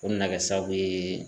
O nana kɛ sababu ye